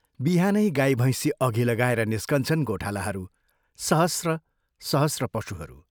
बिहानै गाई भैंसी अघि लगाएर निस्कन्छन् गोठालाहरू सहस्र सहस्र पशुहरू।